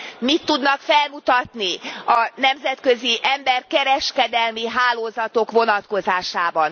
Mit tudnak felmutatni a nemzetközi emberkereskedelmi hálózatok vonatkozásában?